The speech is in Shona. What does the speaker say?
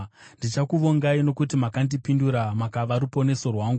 Ndichakuvongai, nokuti makandipindura; makava ruponeso rwangu.